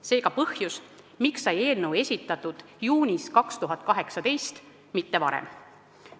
See on ka põhjus, miks sai eelnõu esitatud juunis 2018, mitte varem.